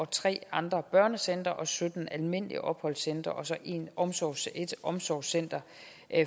tre andre børnecentre sytten almindelige opholdscentre og så et omsorgscenter et omsorgscenter